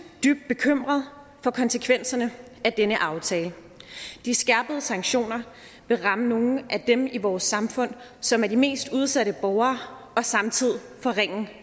dybt bekymret for konsekvenserne af denne aftale de skærpede sanktioner vil ramme nogle af dem i vores samfund som er de mest udsatte borgere og samtidig forringe